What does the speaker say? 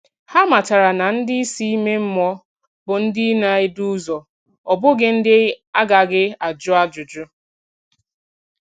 Hà mátàrà na ndị isi ime mmụọ bụ ndị na-edù ụzọ, ọ bụghị ndị a gaghị ajụ ajụjụ.